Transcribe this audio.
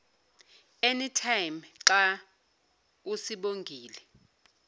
anytime xa usibongile